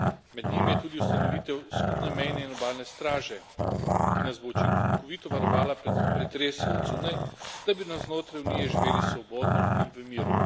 Med njimi je tudi ustanovitev skupne mejne in obalne straže, ki nas bo učinkovito varovala pred pretresi od zunaj, da bi navznotraj Unije živeli svobodno in v miru.